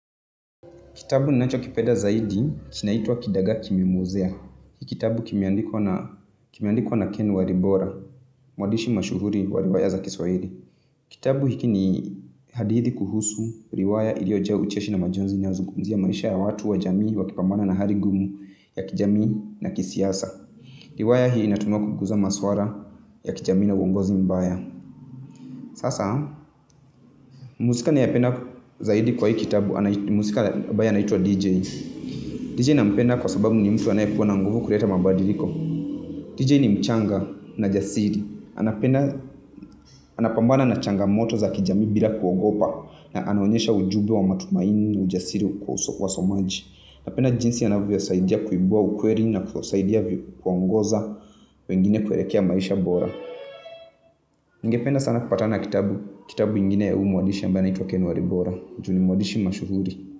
Kitabu ninachokipeda zaidi kinaitwa Kidagaa Kimemwozea. Hii kitabu kimeandikuwa na Ken Waribora, mwadishi mashuhuri wa riwaya za kiswahiri. Kitabu hiki ni hadithi kuhusu, riwaya iliyojaa ucheshi na majonzi inayozugumzia maisha ya watu wa jamii wakipambana na hari gumu ya kijamii na kisiasa. Riwaya hii inatumiwa kuguza maswara ya kijamii na uongozi mbaya. Sasa, mhusika ninayependa zaidi kwa hii kitabu, mhusika abaye anaitwa DJ. DJ nampenda kwa sababu ni mtu anayekuwa na nguvu kureta mabadiliko DJ ni mchanga na jasiri. Anapambana na changamoto za kijamii bila kuogopa na anaonyesha ujube wa matumaini ujasiri kwa wasomaji. Napenda jinsi anavyosaidia kuibua ukweri na kuwasaidia kuongoza wengine kuerekea maisha bora. Ningependa sana kupatana na kitabu. Kitabu ingine ya huu mwadishi ambaye anaitwa Ken waribora ju ni mwadishi mashuhuri.